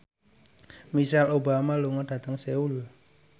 Michelle Obama lunga dhateng Seoul